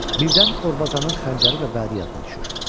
Birdən Orbazanın xəncəri və vədi yadına düşür.